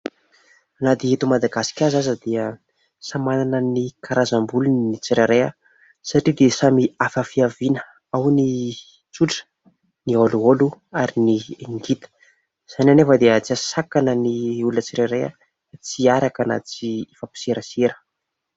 Na dia eto Madagasikara aza dia samy manana ny karazam-bolony ny tsirairay satria dia samy hafa fiaviana, ao ny tsotra, ny olioly ary ny ngita, izany anefa dia tsy ahasakana ny olona tsirairay tsy hiaraka na tsy hifampiserasera.